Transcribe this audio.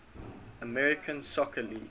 american soccer league